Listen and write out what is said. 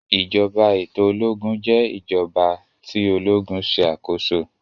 ìjọba eto ológun jé ìjọba tí ológun ṣe akoso